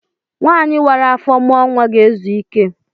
Nwanyi wara afọ mụọ nwa ga-ezu ike.